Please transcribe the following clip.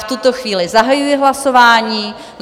V tuto chvíli zahajuji hlasování.